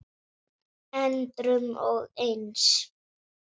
endrum og eins.